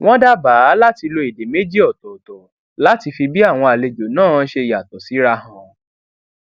wón dábàá láti lo èdè méjì òtòòtò láti fi bí àwọn àlejò náà ṣe yàtò síra hàn